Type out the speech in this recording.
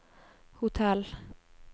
hotell